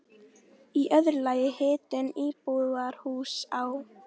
Í öðru lagi hitun íbúðarhúss á